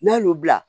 N'a y'o bila